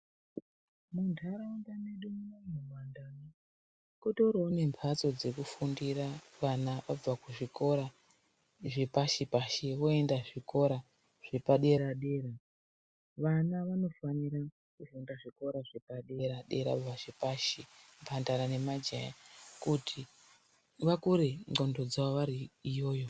Mu ndaraunda medu munomu muma ndau kutoriwo ne mbatso dzeku fundira vana abva ku zvikora zvepashi pashi voenda zvikora zvepa dera dera vana vanofanira kufunda zvikora zvepa dera dera kana zvepashi mbandara ne majaha kuti vakure ndxondo dzavo vari iyoyo.